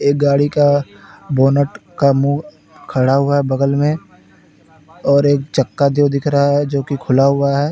एक गाड़ी का बोनट का मुंह खड़ा हुआ है बगल में और एक चक्का जो दिख रहा है जो कि खुला हुआ है।